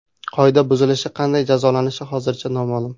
Qoida buzilishi qanday jazolanishi hozircha noma’lum.